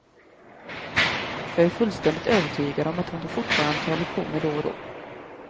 Jag är fullständigt övertygad om att hon fortfarande tar lektioner då och då.